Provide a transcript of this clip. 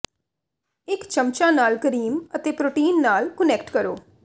ਇੱਕ ਚਮਚਾ ਨਾਲ ਕਰੀਮ ਅਤੇ ਪ੍ਰੋਟੀਨ ਨਾਲ ਕੁਨੈਕਟ ਕਰੋ